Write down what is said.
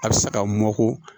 A bɛ sa ka mɔkɔ